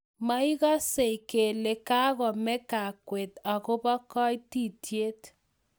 Moikasei kele kakomee kakwet akobo koitititiet